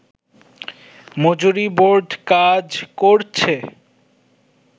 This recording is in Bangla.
মজুরী বোর্ড কাজ করছে